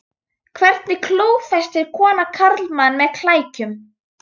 Hvernig klófestir kona karlmann með klækjum?